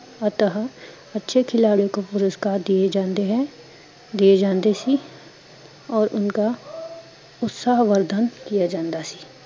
ਅਥਾਹ, ਅੱਛੇ ਖਿਲਾੜਿਓ ਕੋ ਪੁਰਸਕਾਰ ਦੀਏ ਜਾਂਦੇ ਹੈ ਦੀਏ ਜਾਂਦੇ ਸੀ ਓਰ ਉਣਕਾਂ ਉਣਸਾ ਅਵਰਧਨ ਕੀਤਾ ਜਾਂਦਾ ਸੀ